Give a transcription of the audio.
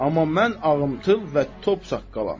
Amma mən ağımçıl və top saqqalam.